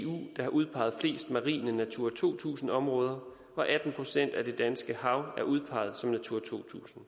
der har udpeget flest marine natura to tusind områder atten procent af det danske hav er udpeget som natura to tusind